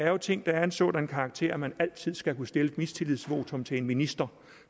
er ting der er af en sådan karakter at man altid skal kunne stille et mistillidsvotum til en minister